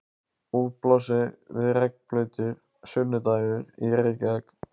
Úti blasir við regnblautur sunnudagur í Reykjavík.